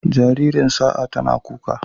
Jaririn Sa'a tana kuka.